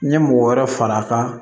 N ye mɔgɔ wɛrɛ fara a kan